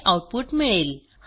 हे आऊटपुट मिळेल